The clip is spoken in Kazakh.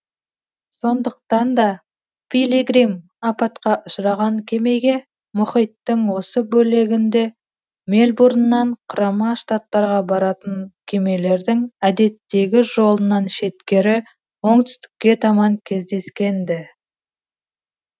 сондықтан да пилигрим апатқа ұшыраған кемеге мұхиттың осы бөлегінде мельбурннан құрама штаттарға баратын кемелердің әдеттегі жолынан шеткері оңтүстікке таман кездескен ді